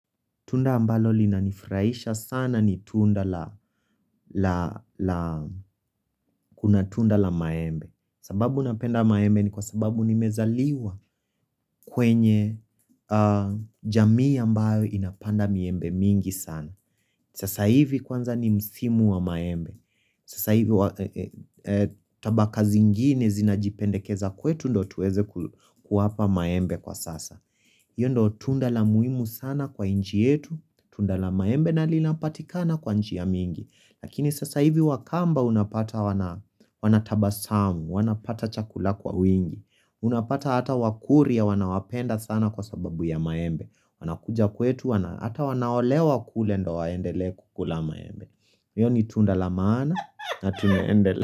Tunda ambalo linanifurahisha sana ni kuna tunda la maembe. Sababu napenda maembe ni kwa sababu nimezaliwa kwenye jamii ambayo inapanda miembe mingi sana. Sasa hivi kwanza ni msimu wa maembe. Sasa hivi tabaka zingine zinajipendekeza kwetu ndo tuweze kuwapa maembe kwa sasa. Iyo ndo tunda la muhimu sana kwa nchi yetu, tunda la maembe na linapatikana kwa njia mingi. Lakini sasa hivi wakamba unapata wanataba samu, wanapata chakula kwa wingi. Unapata hata wakurya wanawapenda sana kwa sababu ya maembe. Wanakuja kwetu, hata wanaolewa kule ndo waendele kukula maembe. Iyo ni tunda la maana na tuneendele.